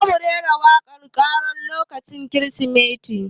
Za mu rera waƙan karol lokacin kirismeti